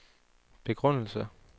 begrundelse